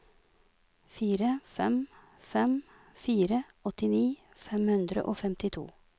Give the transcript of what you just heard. fire fem fem fire åttini fem hundre og femtito